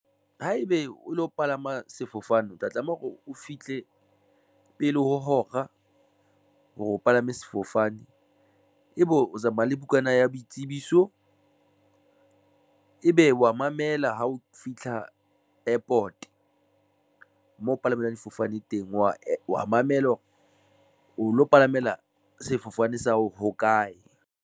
Haebe o lo palama sefofane, o tla tlameha hore o fihle pele ho hora hore o palame sefofane ebe o tsamaya le bukana ya boitsebiso ebe wa mamela ha o fitlha airport mo palamelwang difofane teng wa mamela hore o lo palamela sefofane sa ho hokae.